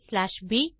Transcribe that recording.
aப்